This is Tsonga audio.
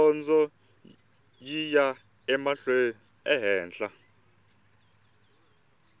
dyondzo yi ya ehenhla